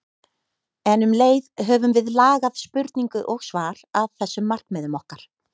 En um leið höfum við lagað spurningu og svar að þessum markmiðum okkar.